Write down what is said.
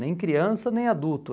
Nem criança, nem adulto.